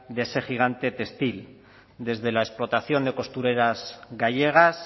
de ese gigante textil desde la explotación de costureras gallegas